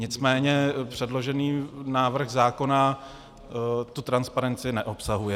Nicméně předložený návrh zákona tu transparenci neobsahuje.